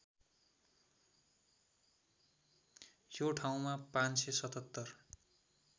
यो ठाउँमा ५७७